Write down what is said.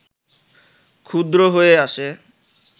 ক্ষুদ্র হয়ে আসে